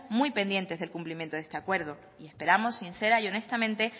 muy pendientes del cumplimiento de este acuerdo y esperamos sincera y honestamente